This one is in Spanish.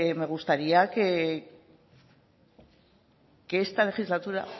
me gustaría que esta legislatura